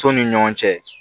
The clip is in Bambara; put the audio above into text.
So ni ɲɔgɔn cɛ